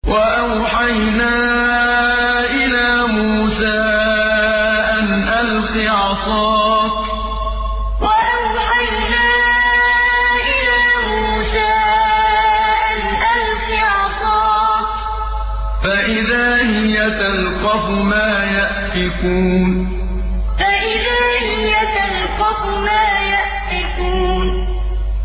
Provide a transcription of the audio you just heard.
۞ وَأَوْحَيْنَا إِلَىٰ مُوسَىٰ أَنْ أَلْقِ عَصَاكَ ۖ فَإِذَا هِيَ تَلْقَفُ مَا يَأْفِكُونَ ۞ وَأَوْحَيْنَا إِلَىٰ مُوسَىٰ أَنْ أَلْقِ عَصَاكَ ۖ فَإِذَا هِيَ تَلْقَفُ مَا يَأْفِكُونَ